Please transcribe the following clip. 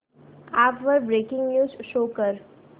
app वर breaking news show कर